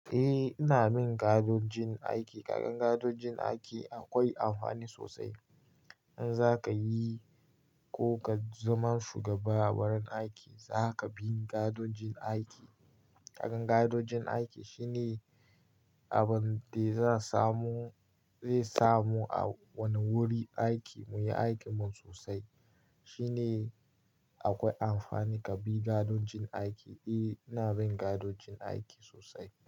Eh, ina bin ka'ido jin aiki. Kaga ka'ido jin aiki akwai amfani sosai. In za ka yi ko ka zama shugaba a wurin aiki, za ka bi ka'ido jin aiki. Kakar gadiog jin aiki shine abin da zai samu a wani wurin aiki muyi aikin mu sosai. Shine akwai amfani ka bi gaidojin aiki. Eh, ina bin kaido jin aiki sosai.